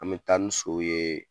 An bɛ taa ni sow ye